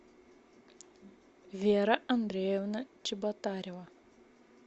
вера андреевна чеботарева